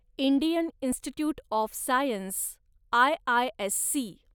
Indian institute of science, IISc